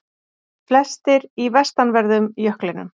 Flestir í vestanverðum jöklinum